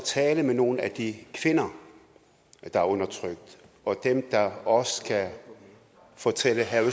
taler med nogle af de kvinder der er undertrykt og dem der også kan fortælle herre